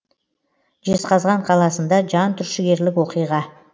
жезқазған қаласында жантүршігерлік оқиға